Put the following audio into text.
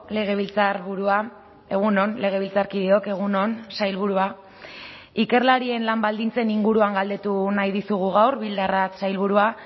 legebiltzarburua egun on legebiltzarkideok egun on sailburua ikerlarien lan baldintzen inguruan galdetu nahi dizugu gaur bildarratz sailburua